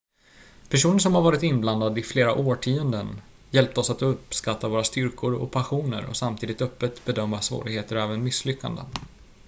personer som varit inblandade i flera årtionden hjälpte oss att uppskatta våra styrkor och passioner och samtidigt öppet bedöma svårigheter och även misslyckanden